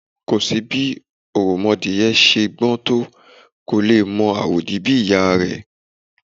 Kò sí bí òròmọadìyẹ ṣe gbọ́n tó, kò lè mọ àwòdì bí ìyá a rẹ̀. /